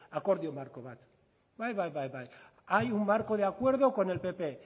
akordio marko bat bai bai bai hay un marco de acuerdo con el pp